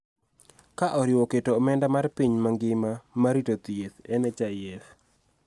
Ka oriwo keto omenda mar piny mangima mar rito thieth (NHIF).